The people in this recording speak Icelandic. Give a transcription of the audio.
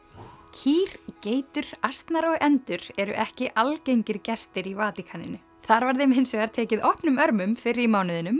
kýr geitur asnar og endur eru ekki algengir gestir í Vatíkaninu þar var þeim hins vegar tekið opnum örmum fyrr í